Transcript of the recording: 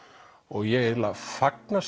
ég fagna